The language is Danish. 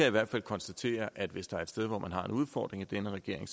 i hvert fald konstatere at hvis der er et sted hvor man har en udfordring i denne regering